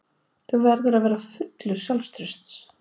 Þú verður að vera fullur sjálfstrausts.